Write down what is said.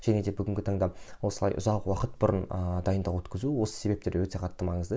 және де бүгінгі таңда осылай ұзақ уақыт бұрын ыыы дайындық өткізу осы себептер өте қатты маңызды